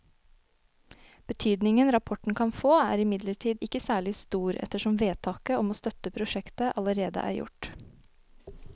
Betydningen rapporten kan få er imidlertid ikke særlig stor ettersom vedtaket om å støtte prosjektet allerede er gjort.